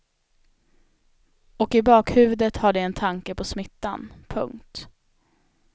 Och i bakhuvudet har de en tanke på smittan. punkt